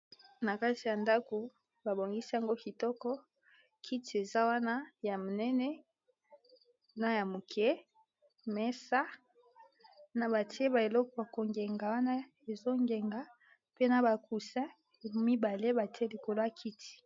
Na kati ya ndaku babongisi yango kitoko kiti eza wana ya monene na ya moke mesa na batie ba eleko bakongenga wana ezongenga mpe na bakusin ya mibale batie likolo ya kiti.